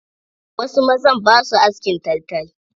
Wasu mazan ba sua askin taltal.